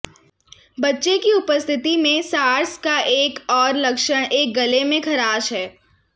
बच्चे की उपस्थिति में सार्स का एक और लक्षण एक गले में ख़राश है